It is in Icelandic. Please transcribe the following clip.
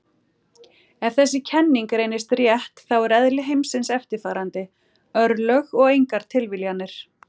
Ef þessi kenning reynist rétt þá er eðli heimsins eftirfarandi: örlög og engar tilviljanir.